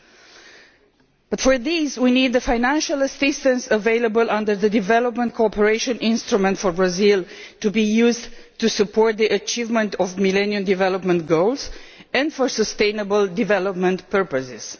But, in order to do this, we need the financial assistance available under the development cooperation instrument for Brazil to be used to support the achievement of the Millennium Development Goals and for sustainable development purposes.